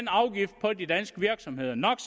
afgift på de danske virksomheder no